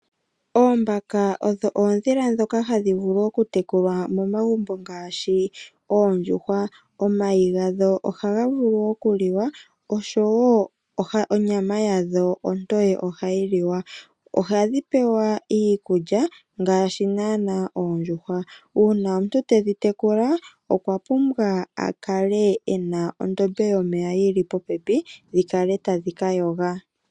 Oombaka odho oondhila dhoka hadhi vulu oku tekulwa momagumbo ngashi oondjuhwa, omayi gadho ohaga okuliwa oshowo onyama yadho ontoye ohayi liwa. Ohadhi pewa iikulya ngashi nana oondjuhwa, una omuntu tedhi tekula okwa pumbwa oku kala ena ondombe yomeya yili popepi dhikale tadhi kayoga.